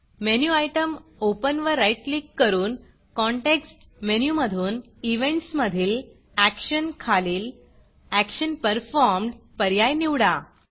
menu item Openओपन वर right click करून कॉन्टेक्स्ट मेनूमधून Eventsइवेंट्स मधील Actionएक्षन खालील एक्शन Performedएक्षन पर्फॉर्म्ड पर्याय निवडा